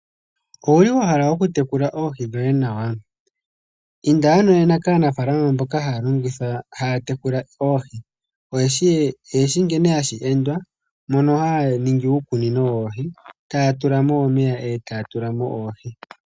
Owuli wahala oku tekula oohi dhoye nawa. Inda ano nena kaanafaalama mboka haya tekula oohi. Oyeshi nkene hashi endwa mono haya ningi uukunino woohi taya tulamo omeya etaya tulamo oohi.